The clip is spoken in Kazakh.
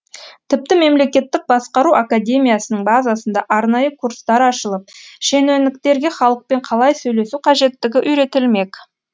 тіпті мемлекеттік басқару академиясының базасында арнайы курстар ашылып шенеуніктерге халықпен қалай сөйлесу қажеттігі үйретілмек